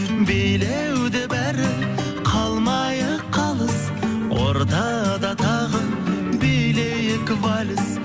билеуде бәрі қалмайық қалыс ортада тағы билейік вальс